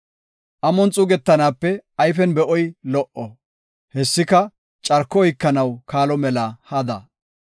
Amon xuugetanaape ayfen be7oy lo77o; hessika carko oykanaw kaalo mela hada.